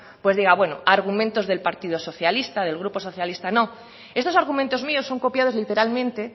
pues diga bueno argumentos del partido socialista del grupo socialista no estos argumentos míos son copiados literalmente